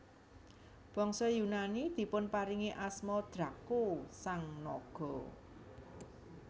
Bangsa Yunani dipunparingi asma Draco sang naga